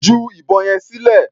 Ju ìbọn yẹn sílẹ̀.